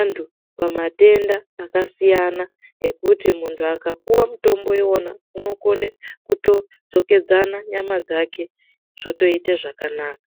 antu pamatenda akasiyana siyana ngekuti muntu akapiwa mutombo iwona unokona kudzokedzana nyama dzake zvotoite zvakanaka.